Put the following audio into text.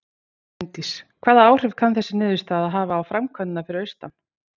Bryndís: Hvaða áhrif kann þessi niðurstaða að hafa á framkvæmdirnar fyrir austan?